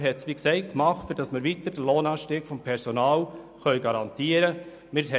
Man kann sagen, wir hätten das gemacht, um den Lohnanstieg beim Personal weiter garantieren können.